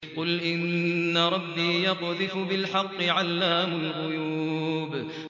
قُلْ إِنَّ رَبِّي يَقْذِفُ بِالْحَقِّ عَلَّامُ الْغُيُوبِ